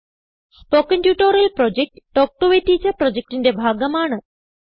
spoken tutorial project talk to a teacher പ്രൊജക്റ്റിന്റെ ഭാഗമാണ്